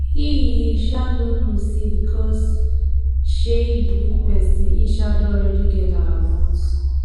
he he um no know say because um he be good person he um don already get our vote